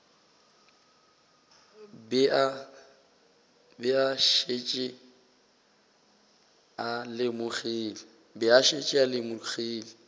be a šetše a lemogile